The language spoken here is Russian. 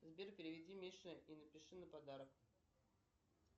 сбер переведи мише и напиши на подарок